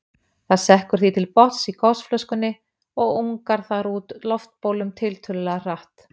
Það sekkur því til botns í gosflöskunni og ungar þar út loftbólum tiltölulega hratt.